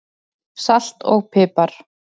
Salt og pipar